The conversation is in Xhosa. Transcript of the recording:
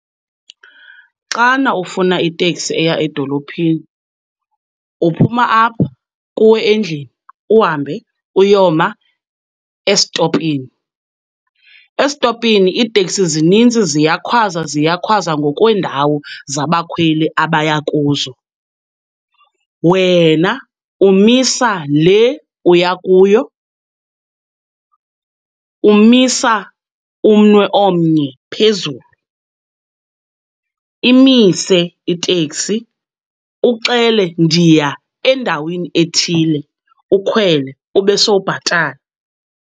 Xana ufuna iteksi eya edolophini uphuma apha kuwe endlini uhambe uyoma esitopini. Esitopini iiteksi zininzi ziyakhwaza, ziyakhwaza ngokweendawo zabakhweli abaya kuzo. Wena umisa le uya kuyo. Umisa umnwe omnye phezulu, imise iteksi uxele ndiya endaweni ethile, ukhwele ube sowubhatala.